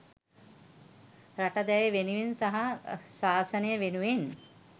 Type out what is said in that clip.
රට දැය වෙනුවෙන් සහ ශාසනය වෙනුවෙන්